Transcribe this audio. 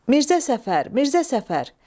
Mirzə Səfər, Mirzə Səfər.